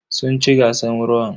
Sun ci gasan rawan.